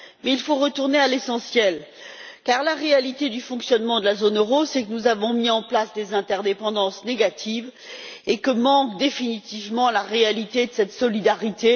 Mais il faut retourner à l'essentiel, car la réalité du fonctionnement de la zone euro, c'est que nous avons mis en place des interdépendances négatives et que ce qui manque définitivement, c'est la réalité de cette solidarité.